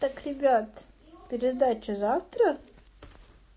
так ребят пересдача завтра